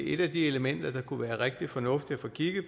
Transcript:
et af de elementer det kunne være rigtig fornuftigt at få kigget